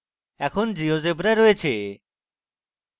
এখানে geogebra রয়েছে